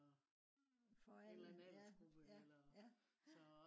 for alle ja ja ja